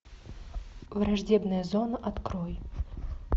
враждебная зона открой